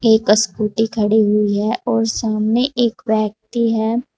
एक स्कूटी खड़ी हुई है और सामने एक व्यक्ति है।